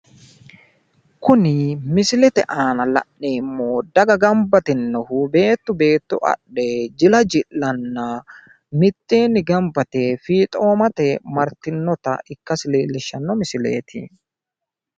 Kuni misilete aana la'neemmo daga gamba yitinnohu beetto beetto adhe jila ji'lanna miteenni gamba yite fiixoomate Martinnota ikkasi leellishshanno misileeti.